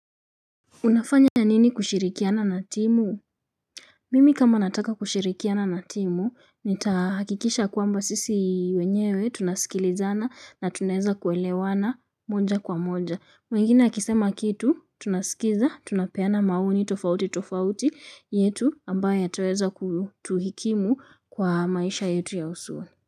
Unafanya nini kushirikiana na timu? Mimi kama nataka kushirikiana na timu, nitahakikisha kwamba sisi wenyewe tunasikilizana na tuneza kuelewana moja kwa moja. Mwingine akisema kitu, tunasikiza, tunapeana maoni tofauti tofauti yetu ambaye ataweza kutuhikimu kwa maisha yetu ya usuo.